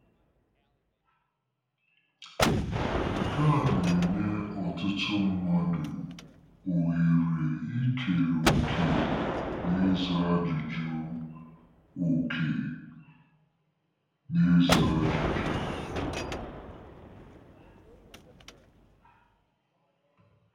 Nke a na-enye ọtụtụ mmadụ ohere ikere òkè n'ịza ajụjụ òkè n'ịza ajụjụ.